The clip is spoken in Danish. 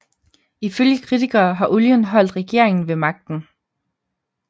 Ifølge kritikere har olien holdt regeringen ved magten